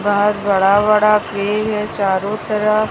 बहोत बड़ा-बड़ा पेड़ है चारों तरफ--